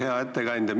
Hea ettekandja!